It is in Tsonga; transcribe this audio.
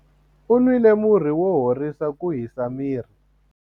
U nwile murhi wo horisa ku hisa miri.